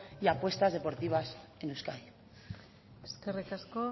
y apuestas deportivas en euskadi eskerrik asko